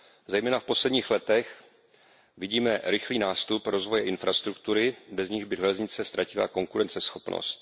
Zejména v posledních letech vidíme rychlý nástup rozvoje infrastruktury, bez ní by železnice ztratila konkurenceschopnost.